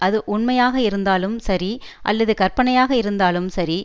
அது உண்மையாக இருந்தாலும் சரி அல்லது கற்பனையாக இருந்தாலும் சரி